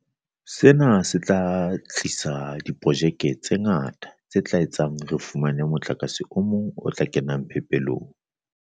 Sena se tla thusa ho tlisa diprojeke tse ngata tse tla etsa hore re fumane motlakase o mong o tla kena phepelong.